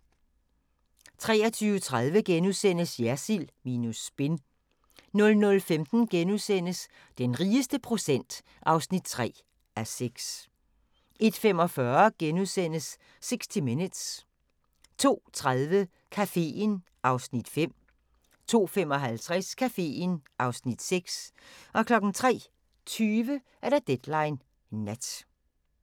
23:30: Jersild minus spin * 00:15: Den rigeste procent (3:6)* 01:45: 60 Minutes * 02:30: Caféen (Afs. 5) 02:55: Caféen (Afs. 6) 03:20: Deadline Nat